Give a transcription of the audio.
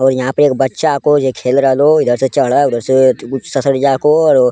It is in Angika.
और यहां पे एक बच्चा को ये खेल रहलो इधर से चढ़ उधर से ससरिया को और --